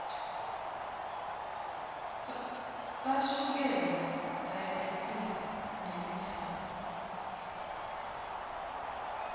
sashukela diabetes mellitus